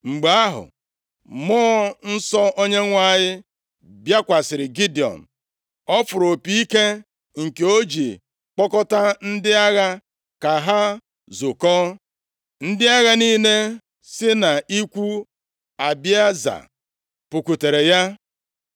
Mgbe ahụ, Mmụọ Nsọ Onyenwe anyị bịakwasịrị Gidiọn. Ọ fụrụ opi ike nke o ji kpọkọta ndị agha ka ha zukọọ. Ndị agha niile si nʼikwu Abieza pụkwutere ya.